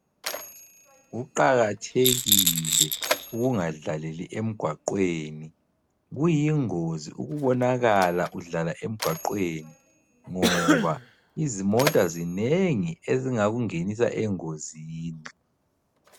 Kuqakathekile ukungadlaleli emgwaqweni. Kuyingozi ukubonakala udlala emgwaqweni ngoba izimota zinengi ezingakungenisa engozini.